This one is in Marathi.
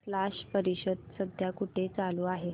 स्लश परिषद सध्या कुठे चालू आहे